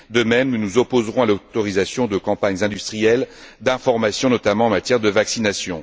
De même, nous nous opposerons à l'autorisation de campagnes industrielles, d'information notamment, en matière de vaccination.